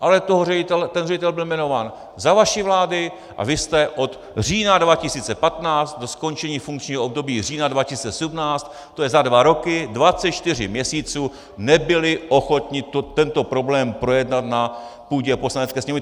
Ale ten ředitel byl jmenován za vaší vlády a vy jste od října 2015 do skončení funkčního období října 2017, to je za dva roky, 24 měsíců, nebyli ochotni tento problém projednat na půdě Poslanecké sněmovny.